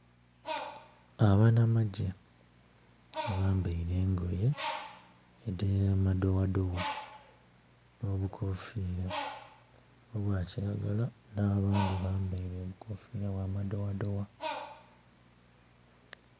Abanamagye abambeire engoye edhamadowa dowa no bukofira obwakilagala na bandhi bambeire obukofira obwa madowadowa.